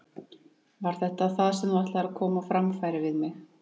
Var þetta það sem þú ætlaðir að koma á framfæri við mig?